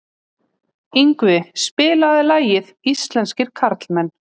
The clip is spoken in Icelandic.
Yngvi, spilaðu lagið „Íslenskir karlmenn“.